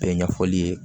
Bɛɛ ɲɛfɔli ye